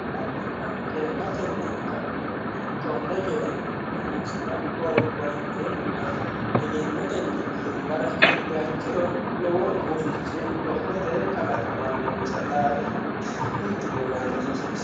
Kayiinnilla cee'matenni ka'nohunni konne coyee horonsira hoogguha ikkironna egenotenni duumbara higguha ikkiro lowo gufichi lophote kalaqamanonsa daafira hiitti gobbano rosa hasiissanonsa.